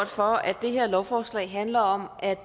for at det her lovforslag handler om at